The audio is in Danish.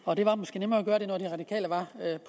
og det var måske nemmere at gøre det når de radikale var